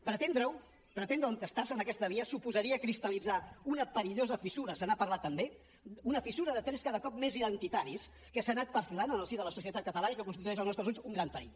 pretendre ho pretendre entestar se en aquesta via suposaria cristal·litzar una perillosa fissura se n’ha parlat també una fissura de trets cada cop més identitaris que s’ha anat perfilant en el si de la societat catalana i que constitueix als nostres ulls un gran perill